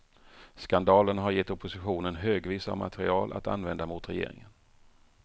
Skandalerna har gett oppositionen högvis av material att använda mot regeringen.